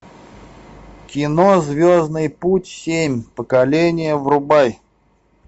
кино звездный путь семь поколение врубай